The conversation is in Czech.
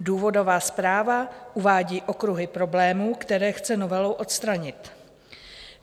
Důvodová zpráva uvádí okruhy problémů, které chce novelou odstranit.